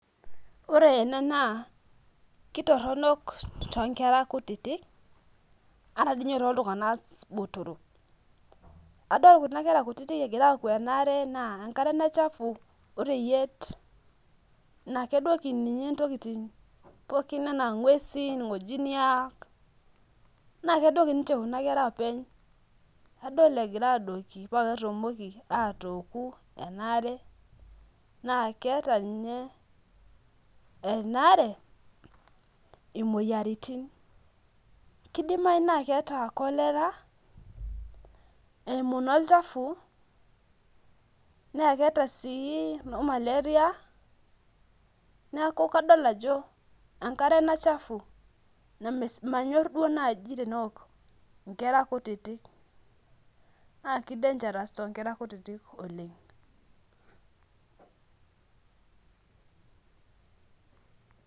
Ore ena naa kitoronok to nkera kutitik ata toltunganak botorok adol kunakwra kutitik egira aouki enkare chafu oreyiet na kedoki nguesi pookin anaa irngojiniak nakedoli nche kunabkera openy adol egira adoki pa ketumoki atooku enaare na keeta nye enaarebimoyiaritin ,kidimau na keeta kolera eimu nabolchafu na keeta si nomalaria nakadolta ajo enkare ena sapuk namanyor duo najji teneok nkera kutitik na ke dangerous tonkera kutitik oleng.